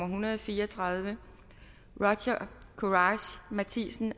hundrede og fire og tredive roger courage matthisen